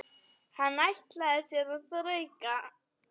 Hann ætlaði sér að þrauka.